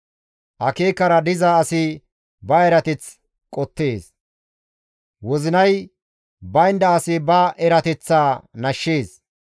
Akeekara diza asi ba erateth qottees; wozinay baynda asi ba eeyateththaa nashshees.